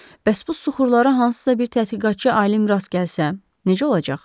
Bəs bu suxurlara hansısa bir tədqiqatçı alim rast gəlsə, necə olacaq?